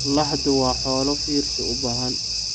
Laxdu waa xoolo fiirsi u baahan.